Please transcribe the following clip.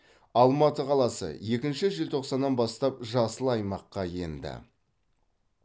алматы қаласы еінші желтоқсаннан бастап жасыл аймаққа енді